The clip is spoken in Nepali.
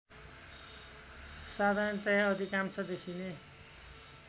साधारणतया अधिकांश देखिने